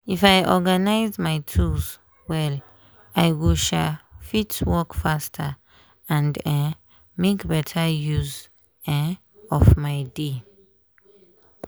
if i organize my tools well i go um fit work faster and um make better use um of my day.